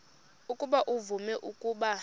ukuba uvume ukuba